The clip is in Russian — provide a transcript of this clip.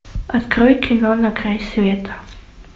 открой кино на край света